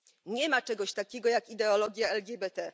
Nie ma czegoś takiego jak ideologia LGBT.